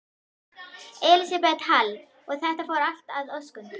Elísabet Hall: Og þetta fór allt að óskum?